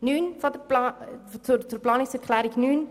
Ich komme zu Planungserklärung 9: